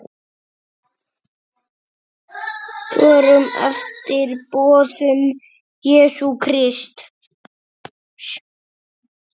Förum eftir boðum Jesú Krists.